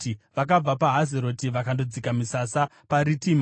Vakabva paHazeroti vakandodzika misasa paRitima.